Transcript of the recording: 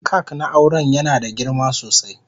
kak na auren yana da girma sosai.